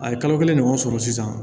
A ye kalo kelen ɲɔgɔn sɔrɔ sisan